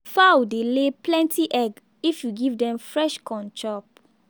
fowl dey lay plenty egg if you give dem fresh corn chop.